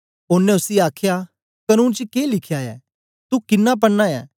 ओनें उसी आखया कनून च के लिखया ऐ तू किन्ना पढ़ना ऐ